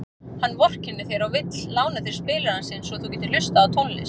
Hann vorkennir þér og vill lána þér spilarann sinn svo þú getir hlustað á tónlist.